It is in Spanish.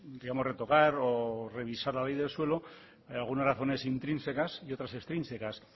digamos retocar o revisar la ley del suelo algunas razón intrínsecas y otras extrínsecas